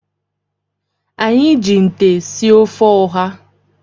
Anyị ji nte sie ofe ụha.